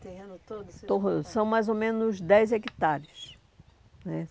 esse terreno todo... Todo, são mais ou menos dez hectares né.